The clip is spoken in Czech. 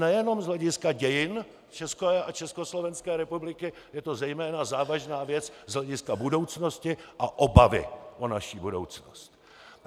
Nejenom z hlediska dějin České a Československé republiky, je to zejména závažná věc z hlediska budoucnosti a obavy o naši budoucnost!